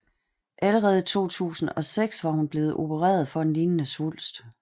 Allerede i 2006 var hun blevet oprereret for en lignende svulst